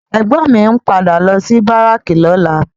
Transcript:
Ègbòn mi n pádà lò si báráki lòlá